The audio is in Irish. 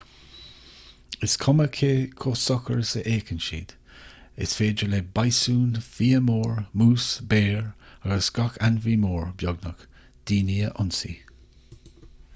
is cuma cé chomh socair is a fhéachann siad is féidir le bíosún fia mór mús béir agus gach ainmhí mór beagnach daoine a ionsaí